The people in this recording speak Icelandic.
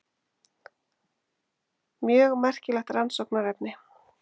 Mjög merkilegt rannsóknarefni.